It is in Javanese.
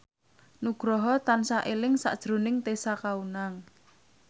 Nugroho tansah eling sakjroning Tessa Kaunang